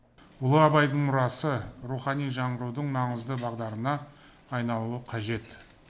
ұлы абайдың мұрасы рухани жаңғырудың маңызды бағдарына айналуы қажет